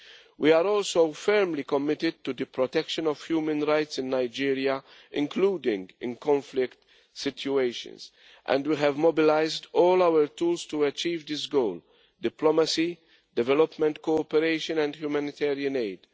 We are also firmly committed to the protection of human rights in Nigeria, including in conflict situations, and we have mobilised all our tools to achieve this goal diplomacy, development cooperation and humanitarian aid.